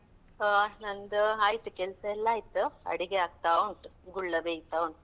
ಹಾ ನಂದು ಆಯ್ತು ಕೆಲ್ಸ ಎಲ್ಲ ಆಯ್ತು, ಅಡಿಗೆ ಆಗ್ತಾ ಉಂಟು, ಗುಳ್ಳ ಬೇಯ್ತಾ ಉಂಟು.